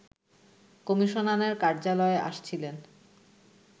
কমিশনারের কার্যালয়ে আসছিলেন